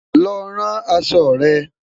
lọ ràn aṣọ rẹ̀